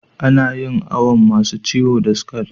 Ana yin awon masun ciwo da scal.